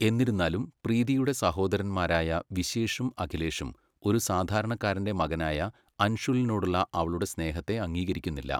എന്നിരുന്നാലും, പ്രീതിയുടെ സഹോദരന്മാരായ വിശേഷും, അഖിലേഷും ഒരു സാധാരണക്കാരന്റെ മകനായ അൻഷുലിനോടുള്ള അവളുടെ സ്നേഹത്തെ അംഗീകരിക്കുന്നില്ല.